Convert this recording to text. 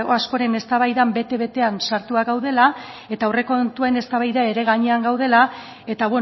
askoren eztabaidan bete betean sartuak gaudela eta aurrekontuen eztabaida ere gainean gaudela eta